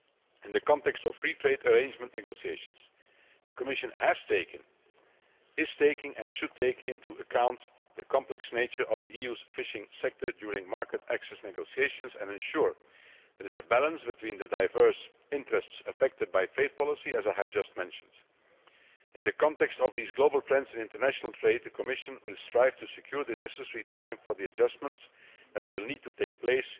In the context of free trade arrangement negotiations, the Commission has taken, is taking, and should take into account the complex nature of the EU's fishing sector during market access negotiations and ensure there is a balance between the diverse interests affected by trade policy, as I have just mentioned. In the context of these global trends in international trade, the Commission will strive to secure the necessary time for the adjustments that will need to take place,